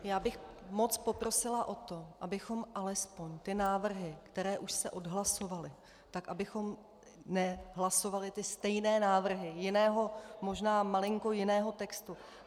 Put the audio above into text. Já bych moc poprosila o to, abychom alespoň ty návrhy, které už se odhlasovaly, tak abychom nehlasovali ty stejné návrhy jiného, možná malinko jiného textu.